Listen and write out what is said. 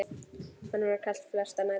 Honum var kalt flestar nætur.